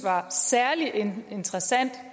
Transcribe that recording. var særlig interessant